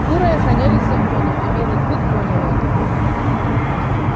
куры охранялись законом и белый клык понял это